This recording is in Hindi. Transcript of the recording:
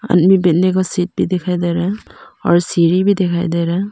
आदमी बैठने का सीट भी दिखाई दे रहा है और सीढ़ी भी दिखाई दे रहा है।